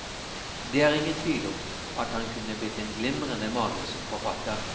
Det er ingen tvil om at han kunne blitt en glimrende manusforfatter.